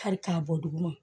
Kari k'a bɔ duguma